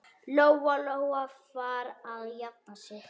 Lóa-Lóa var að jafna sig.